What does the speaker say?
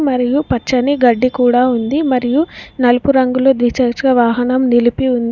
మరియు పచ్చని గడ్డి కూడా ఉంది మరియు నలుపు రంగులో ద్విచచ్చ వాహనం నిలిపి ఉంది.